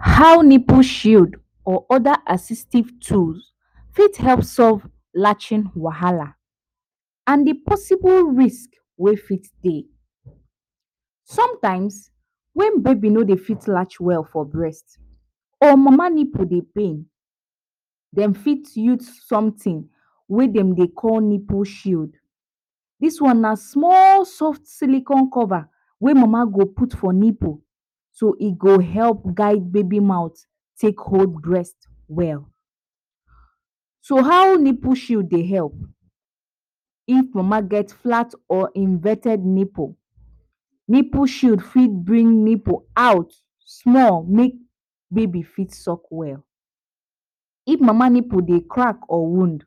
How nipple shield or other assistive tools fit help solve latching wahala and de possible risk wey fit dey. Sometimes when baby no dey fit latch well for breast or mama nipple dey pain, dem fit use something wey dem dey call nipple shield dis one na soft silicon cover, wey mama go put for nipple so e go help guild baby mouth take hold breast well, so how nipple shield dey help, if mama get flat or inverted nipple, nipple shield fit bring nipple out small make baby fit suck well, if mama nipple dey crack or wound,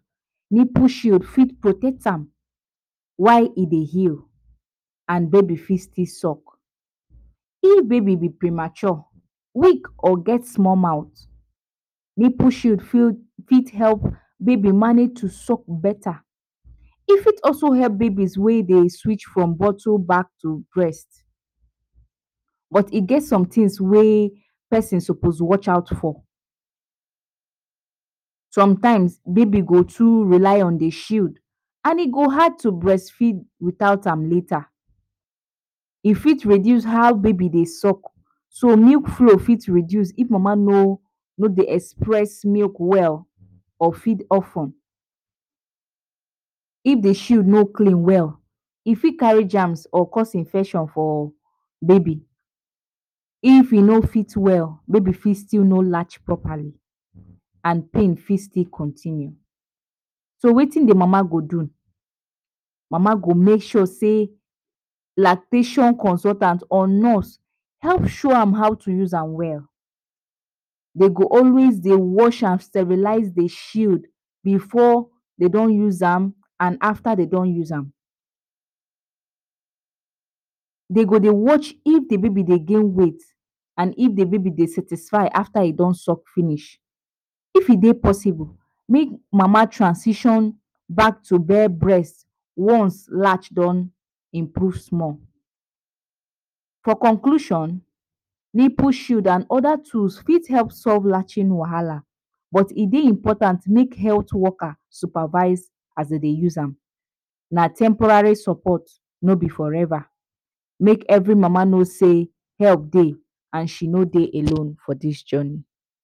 nipple shield fit protect am while e dey heal and baby still fit suck if baby be premature, weak or get small mouth, nipple shield fit help baby manage to suck beta, e fit help baby wey dey switch from bottle back to breast but e get somethings wey person suppose watch out for. sometimes baby go fit relay on de shield and e go hard to breastfeed without am later, e fit reduce how baby dey suck so milk flow go fit reduce if mama no no dey express milk well or feed of ten if de shield no clean well e fit carry germs or cause infection for baby, if e no still well baby fit no latch properly and pain fit still continue. So wetin de mama go do? mama go make sure sey lactating consultant or nurse help show am how to use am well, dey go always dey wash am sterilize de shield before de don use am and after dey don use am. De go dey watch if de baby de gain weight and if de baby dey satisfy after e don suck finish if e de possible make mama transition back to breast once latch don improve small. For conclusion nipple shield and other tools fit help solve latching wahala but e dey important make health worker supervise as dey dey use am na temporary support no be for ever make every mama no sey help dey and she no dey alone for dis journey.